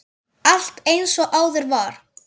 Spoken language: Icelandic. Allt eins og áður var.